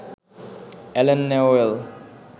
Allen Newell